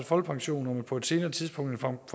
folkepension på et senere tidspunkt